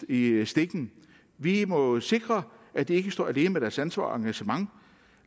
i stikken vi må sikre at de ikke står alene med deres ansvar og engagement